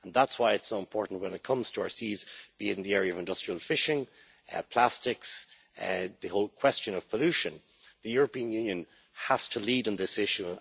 That is why it is so important when it comes to our seas, be it in the area of industrial fishing, plastics, the whole question of pollution, that the European Union has to lead on this issue.